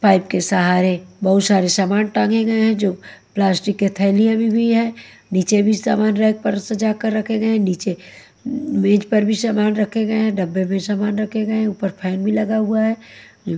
Pipe के सहारे बहुत शारे सामान टांगे गए हैं जो प्लास्टिक के थैलिया में भी है नीचे भी सामान रैक पर सजाकर रखे गए हैं नीचे मेज पर भी सामान रखे गए हैं डब्बे में सामान रखे गए हैं ऊपर फैन भी लगा हुआ है।